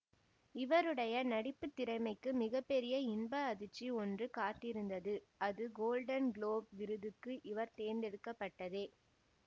இவருடைய நடிப்பு திறமைக்கு மிக பெரிய இன்ப அதிர்ச்சி ஒன்று காத்திருந்தது அது கோல்டன் குளோப் விருதுக்கு இவர் தேர்ந்தெடுக்கப்பட்டதே